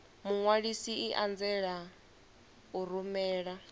muṅwalisi i anzela u rumela